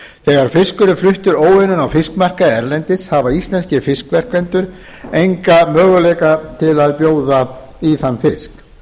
þegar fiskur er fluttur óunninn á fiskmarkaði erlendis hafa íslenskir fiskverkendur enga möguleika til að bjóða í þann fisk